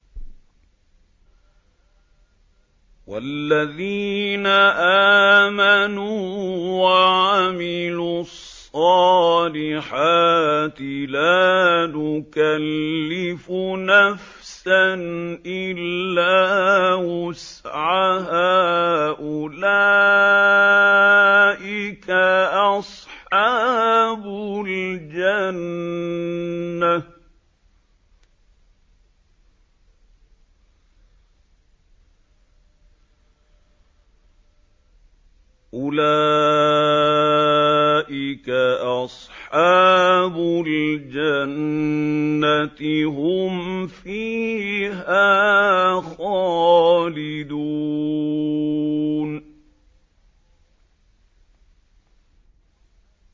وَالَّذِينَ آمَنُوا وَعَمِلُوا الصَّالِحَاتِ لَا نُكَلِّفُ نَفْسًا إِلَّا وُسْعَهَا أُولَٰئِكَ أَصْحَابُ الْجَنَّةِ ۖ هُمْ فِيهَا خَالِدُونَ